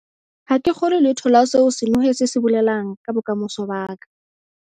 Ha ke kgolwe letho la seo senohe se se bolelang ka bokamoso ba ka.